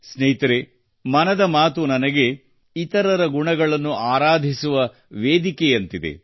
ಸ್ನೇಹಿತರೇ ಮನದ ಮಾತು ನನಗೆ ಇತರರ ಗುಣಗಳನ್ನು ಆರಾಧಿಸುವ ವೇದಿಕೆಯಂತಿದೆ